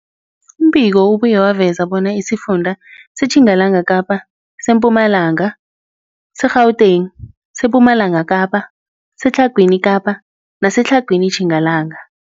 Umbiko ubuye waveza bona isifunda seTjingalanga Kapa, seMpumalanga, seGauteng, sePumalanga Kapa, seTlhagwini Kapa neseTlhagwini Tjingalanga.